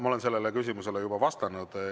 Ma olen sellele küsimusele juba vastanud.